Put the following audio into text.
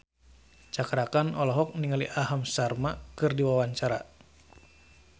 Cakra Khan olohok ningali Aham Sharma keur diwawancara